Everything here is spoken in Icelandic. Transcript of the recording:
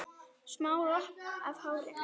Smá lokk af hárinu.